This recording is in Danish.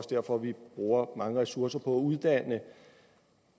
derfor vi bruger mange ressourcer på at uddanne